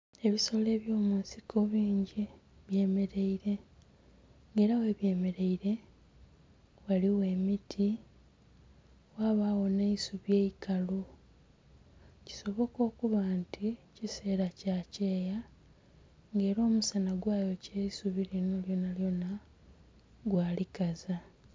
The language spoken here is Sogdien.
Ebisolo byo munsiko bingi bye mereire nga era ghe bemereire ghaligho emiti, ghabagho nhe'isubi eikalu kisoboka okuba nti ekisela kya kyeeya nga era omusanha ghayokya eisubi linho lyona lyona gwa likaza.